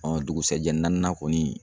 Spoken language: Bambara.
dugusɛjɛ naaninan kɔni